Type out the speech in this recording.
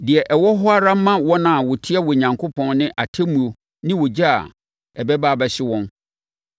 Deɛ ɛwɔ hɔ ara ma wɔn a wɔtia Onyankopɔn ne atemmuo ne ogya a ɛbɛba abɛhye wɔn.